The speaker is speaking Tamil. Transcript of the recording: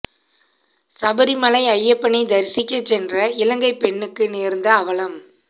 சபரி மலை ஐயப்பனை தரிசிக்க சென்ற இலங்கை பெண்ணுக்கு நேர்ந்த அவலம்